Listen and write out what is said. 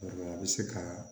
a bɛ se ka